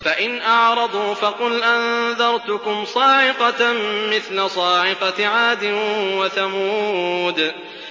فَإِنْ أَعْرَضُوا فَقُلْ أَنذَرْتُكُمْ صَاعِقَةً مِّثْلَ صَاعِقَةِ عَادٍ وَثَمُودَ